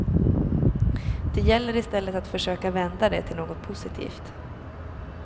Det gäller i stället att försöka vända det till något positivt.